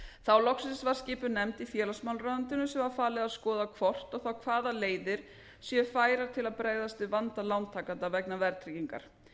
þá loksins var skipuð nefnd í félagsmálaráðuneytinu sem var falið að skoða hvort og þá hvaða leiðir séu færar til að bregðast við vanda lántakenda vegna verðtryggingar